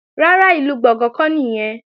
Rárá, ìlú Gbọ̀ngán kọ́ nìyẹn